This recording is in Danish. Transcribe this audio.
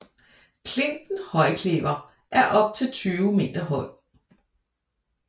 Klinten Højklevher er op til 20 meter høj